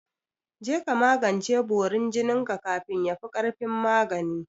Je ka magance borin jinin ka kafin yafi ƙarfin magani!